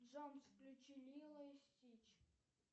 джой включи лило и стич